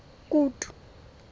kutu